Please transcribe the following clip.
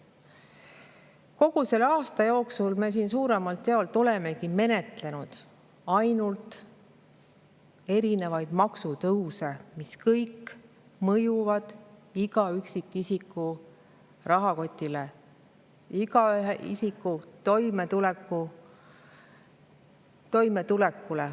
Kogu selle aasta jooksul me siin suuremalt jaolt olemegi menetlenud ainult erinevaid maksutõuse, mis kõik mõjuvad iga üksikisiku rahakotile, iga isiku toimetulekule.